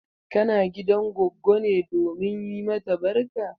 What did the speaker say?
Kana gidan goggo ne domin yi mata barka?